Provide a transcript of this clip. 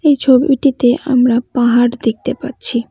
এই ছবিটিতে আমরা পাহাড় দেখতে পাচ্ছি।